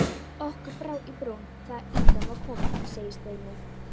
Okkur brá í brún þegar ýtan var komin segir Steini.